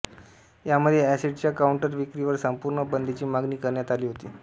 यामध्ये एसिडच्या काउंटर विक्रीवर संपूर्ण बंदीची मागणी करण्यात आली होती